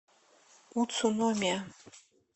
уцуномия